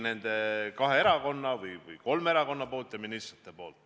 Seda on teinud kõik kolm erakonda ja kõik ministrid.